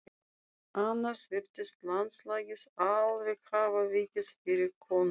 Annars virtist landslagið alveg hafa vikið fyrir konunni.